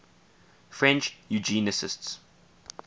french eugenicists